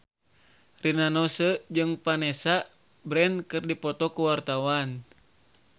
Rina Nose jeung Vanessa Branch keur dipoto ku wartawan